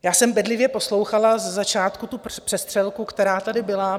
Já jsem bedlivě poslouchala ze začátku tu přestřelku, která tady byla.